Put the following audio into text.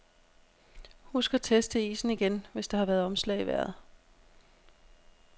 Husk at teste isen igen, hvis der har været omslag i vejret.